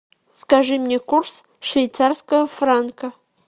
скажи мне курс швейцарского франка